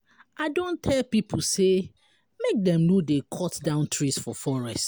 I don tell pipo sey make dem no dey cut down trees for forest.